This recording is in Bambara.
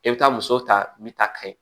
E bɛ taa muso ta min ta ka ye